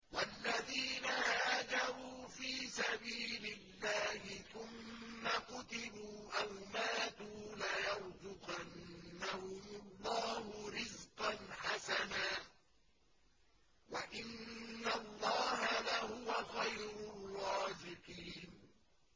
وَالَّذِينَ هَاجَرُوا فِي سَبِيلِ اللَّهِ ثُمَّ قُتِلُوا أَوْ مَاتُوا لَيَرْزُقَنَّهُمُ اللَّهُ رِزْقًا حَسَنًا ۚ وَإِنَّ اللَّهَ لَهُوَ خَيْرُ الرَّازِقِينَ